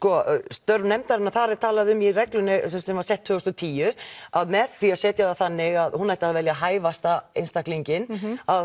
störf nefndarinnar þar er talað um í reglunni sem var sett tvö þúsund og tíu að með því að setja það þannig að hún ætti að velja hæfasta einstaklinginn